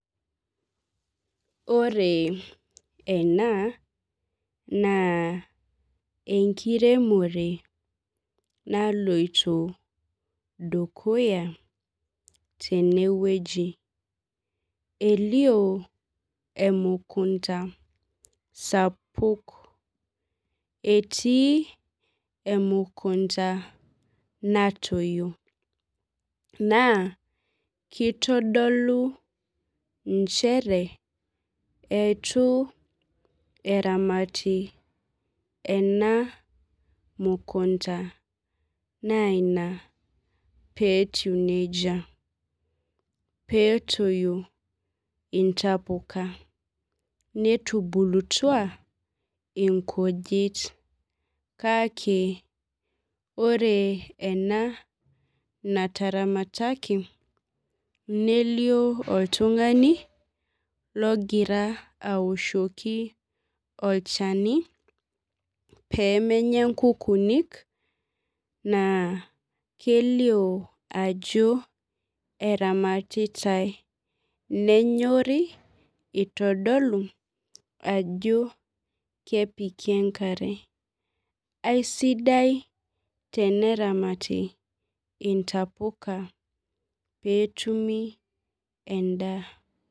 Ore ena, naa enkiremore naloito dukuya tenewueji. Elio emukunda sapuk. Etii emukunda natoyio. Naa, kitodolu injere eitu eramati ena mukunda na ina petiu nejia. Petoyio intapuka. Netubulutua inkujit. Kaka, ore ena nataramataki, nelio oltung'ani logira awoshoki olchani pemenya nkukuuni, naa kelio ajo eramatitai. Nenyori itodolu ajo kepiki enkare. Aisidai teneramati intapuka petumi endaa.